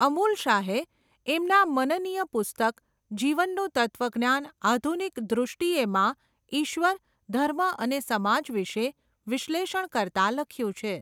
અમૂલ શાહે, એમના મનનીય પુસ્તક, જીવનનું તત્વજ્ઞાન આધુનિક દૄષ્ટિએ માં ઈશ્વર, ધર્મ અને સમાજ વિશે વિશ્લેષણ કરતાં લખ્યું છે.